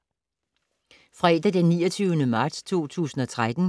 Fredag d. 29. marts 2013